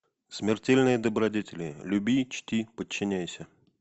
смертельные добродетели люби чти подчиняйся